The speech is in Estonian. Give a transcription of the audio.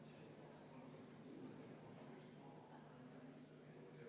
Täpselt sama asi toimus meil ka möödunud aasta kevadel.